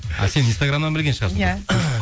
а сен инстаграмнан білген шығарсың иә